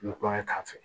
Nkɔyɔ k'a fɛ